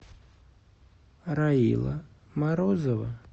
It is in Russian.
раила морозова